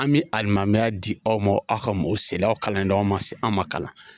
An bɛ alimamuya di aw ma aw ka o silaw kalanden aw ma aw ma kalan